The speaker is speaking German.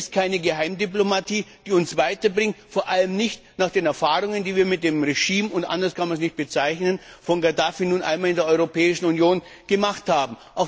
Denn es ist keine Geheimdiplomatie, die uns weiterbringt, vor allem nicht nach den Erfahrungen, die wir mit dem Regime und anders kann man es nicht bezeichnen von Gaddafi nun einmal in der Europäischen Union gemacht haben.